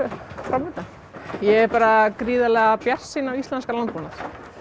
fram undan ég er bara gríðarlega bjartsýn á íslenskan landbúnað